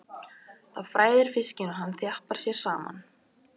Það hræðir fiskinn og hann þjappar sér saman.